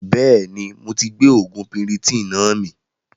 Bẹ́ẹ̀ni moti gbé oògùn piritonnáà mi